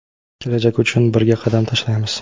Kelajak uchun birga qadam tashlaymiz!.